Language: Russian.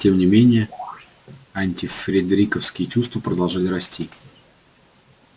тем не менее антифредериковские чувства продолжали расти